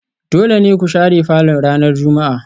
Dole ne ku share falon ranar Juma'a